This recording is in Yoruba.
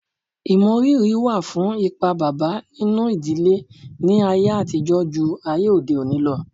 Ìmọrírì wà fún ipa bàbá nínú ìdílé ní ayé àtijọ́ jù ayé òde òni lọ